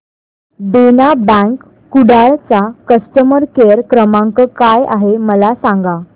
देना bank Kudal चा customer care क्रमांक काय आहे मला सांगा